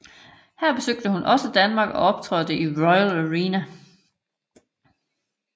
Her besøgte hun også Danmark og optrådte i Royal Arena